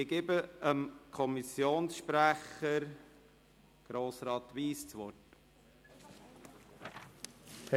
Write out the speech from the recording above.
Ich erteile dem Sprecher der FiKo, Grossrat Wyss, das Wort.